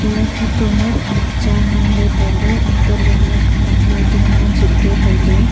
eya photo ma khanak cha ngan ley tai ley hantoh ley eya khanak le ding ma jip ley tai ley.